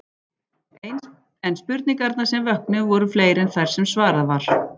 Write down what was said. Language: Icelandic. En spurningarnar sem vöknuðu voru fleiri en þær sem svarað var.